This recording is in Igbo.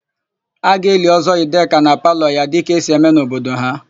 A ga-eli Ọ́zọ́ Ideka na palọ ya dịka esi eme n'obodo ha.